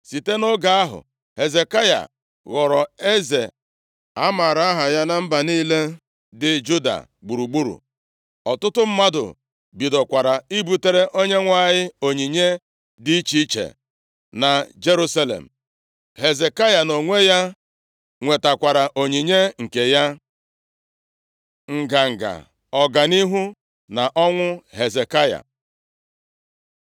Site nʼoge ahụ, Hezekaya ghọrọ eze a maara aha ya na mba niile dị Juda gburugburu. Ọtụtụ mmadụ bidokwara ibutere Onyenwe anyị onyinye dị iche iche na Jerusalem. Hezekaya nʼonwe ya nwetakwara onyinye nke ya. Nganga, Ọganihu, na ọnwụ Hezekaya